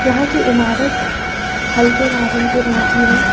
यहां की इमारत हल्के नारंगी रंग की है।